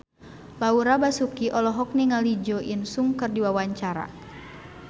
Laura Basuki olohok ningali Jo In Sung keur diwawancara